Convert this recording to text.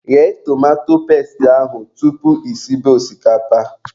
Ghee tomato pestị ahụ tupu I sibe osikapa